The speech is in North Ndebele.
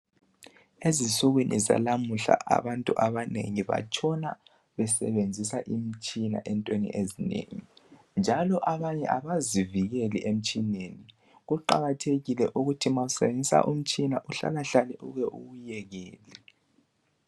Ezinsukwini zalamuhla abantu abanengi batshona besebenzisa imitshina entweni ezinengi njalo abanye abazivikeli emtshineni kuqakathekile ukuthi uma usebenzisa umtshina uhlalahlale uke uwuyekele.